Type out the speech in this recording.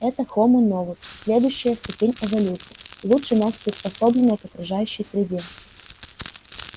это хомо новус следующая ступень эволюции лучше нас приспособленная к окружающей среде